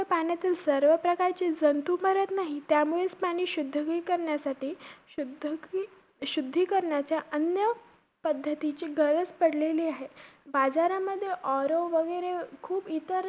तर पाण्यातील सर्व प्रकारचे जंतू मरत नाहीत. त्यामुळेचं पाणी शुद्धीकीकरण्यासाठी~ शुद्धकी~ शुद्धी करण्याच्या अन्य पद्धतीची गरज पडलेली आहे. बाजारामध्ये RO वगैरे खूप